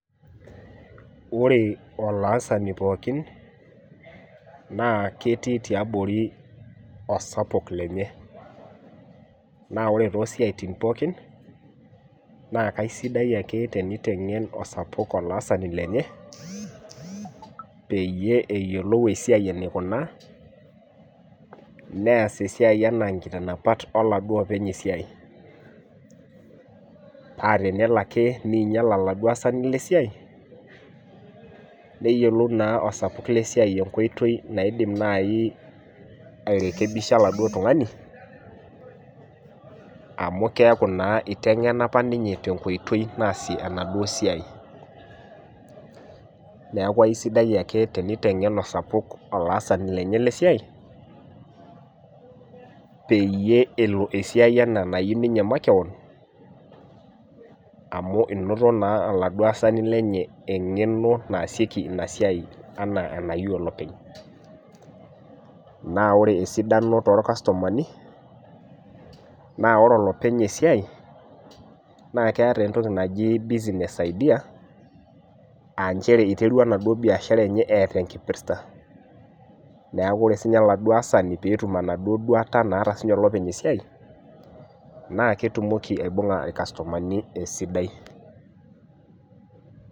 Ore olaasani pookin na ketii tiabori osapuk lenye na ore tosiatin pookin na kesidia ake tenitengen osapuk olaasani lenye ptumoki neas esiai ana nkiitanapat oladuo openy esiai pa tenelo ake ninyel oladuo asaniblesiai neyiolou na orkitok enidim nai airekenisba oladuo tungani amu keaku na itengena apa ninye eniko peas enasiai neaku aisidai ake enkitengen osapuk olaasani lenye lesiai peyie elo esiai ana enayieu ninye makeon amu inoto naa oladuo aasani lenye ana enayieu olopeny na ore esidano torkastomani na ore olopeny esiai keeta entokinaji bussiness idea a nchere iterua enaduo biashara enye eeta enkipirta neaku ore olaasani tenetum enaduo duata naata olopeny esiaia na ketumoki aibunga irkastomani esidai.